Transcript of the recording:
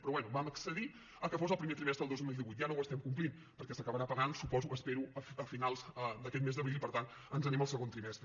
però bé vam accedir que fos al primer trimestre del dos mil divuit ja no ho estem complint perquè s’acabarà pagant suposo espero a finals d’aquest mes d’abril i per tant ens n’anem al segon trimestre